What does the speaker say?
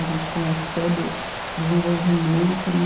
A gente conhece todo o desenvolvimento, né?